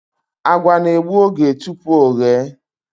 Àgwà na-egbu oge tupu o ghe